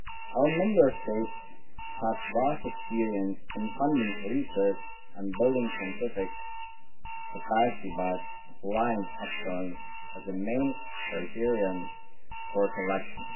Our Member States have vast experience in funding research, and building scientific capacity by applying excellence is the main criterion for selection.